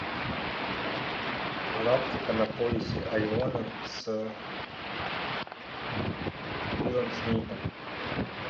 галактика на поясе ориона с уиллом смитом